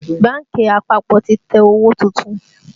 Bánkì àpapọ̀ ti tẹ owó tuntun